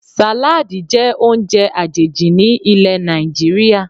Sàláàdì jẹ́ oúnjẹ àjèjì ni ilẹ̀ Nàìjíríà